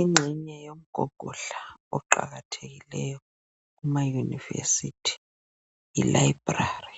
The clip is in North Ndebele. Ingxenye yomgogodla oqakathekileyo kuma univesithi yilayibhulali